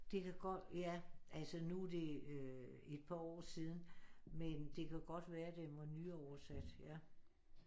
Det kan godt ja altså nu det et par år siden men det kan godt være at den var nyoversat ja